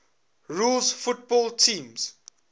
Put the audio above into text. rules football teams